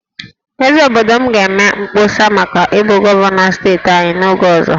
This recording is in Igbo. Eze obodo m ga-eme mkpọsa maka ịbụ gọvanọ steeti anyị n'oge ọzọ